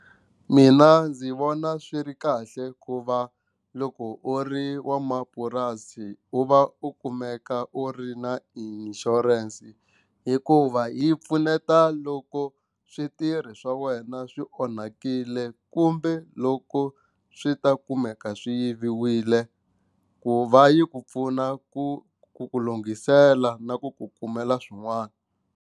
Mina ndzi vona swi ri kahle ku va loko u ri wa mapurasi u va u kumeka u ri na insurance hikuva yi pfuneta loko switirhi swa wena swi onhakile kumbe loko swi ta kumeka swi yiviwile ku va yi ku pfuna ku ku ku lunghisela na ku ku kumela swin'wana.